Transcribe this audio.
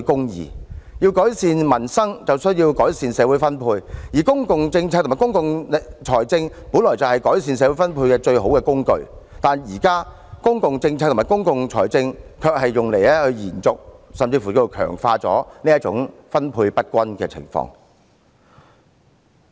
要改善民生，就要改善社會分配，而公共政策和公共財政本來是改善社會分配的最好工具，但現在公共政策和公共財政卻成為延續、甚至是強化這種分配不均的工具。